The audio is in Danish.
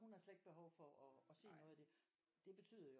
Hun har slet ikke behov for at se noget af det det betyder jo